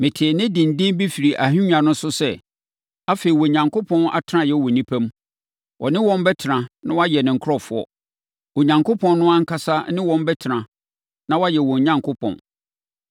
Metee nne denden bi firi ahennwa no so sɛ, “Afei, Onyankopɔn atenaeɛ wɔ nnipa mu. Ɔne wɔn bɛtena na wɔayɛ ne nkurɔfoɔ. Onyankopɔn no ankasa ne wɔn bɛtena na wayɛ wɔn Onyankopɔn.